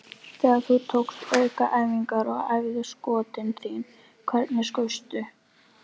Þegar þú tókst aukaæfingar og æfðir skotin þín, hvernig skaustu?